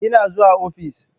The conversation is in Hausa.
Ina zuwa ofis.